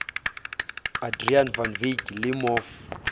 adriaan van wyk le mof